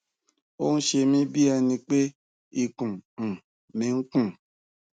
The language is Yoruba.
ó ń ṣe mi bí ẹni pé ikùn um mí kún